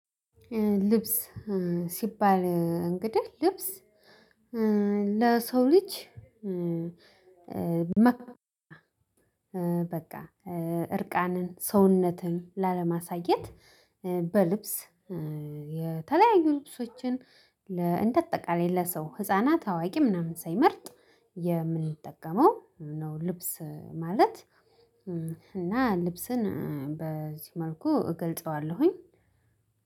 ልብስ ሲባል እንግዲህ ልብስ ለሰው ልጅ። በቃ እርቃንን ሰውነትን ላለማሳየት በልብስ የተለያዩ ልብሶችን እንደ አጠቃላይ ለሰው ህፃናት አዋቂ ምናምን ሳይመርጥ የምንጠቀመው ነው። ልብስ ማለት እና ልብስን በዚህ መልኩ እገልጸዋለሁኝ።